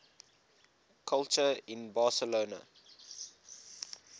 culture in barcelona